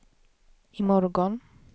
imorgon